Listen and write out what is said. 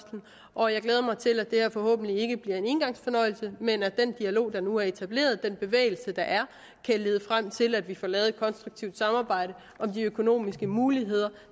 og jeg glæder mig til at det her forhåbentlig ikke bliver en engangsfornøjelse men at den dialog der nu er etableret den bevægelse der er kan lede frem til at vi får lavet et konstruktivt samarbejde om de økonomiske muligheder